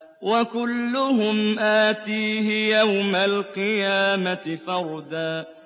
وَكُلُّهُمْ آتِيهِ يَوْمَ الْقِيَامَةِ فَرْدًا